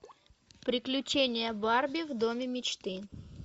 приключения барби в доме мечты